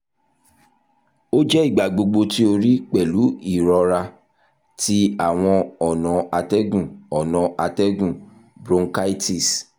o jẹ igbagbogbo ti o rii pẹlu irọra ti awọn ọna atẹgun ọna atẹgun (bronchitis)